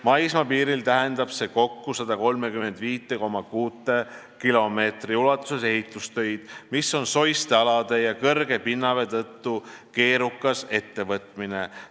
Maismaapiiril tähendab see kokku 135,6 kilomeetri ulatuses ehitustöid, mis on soiste alade ja kõrge pinnavee tõttu keerukas ettevõtmine.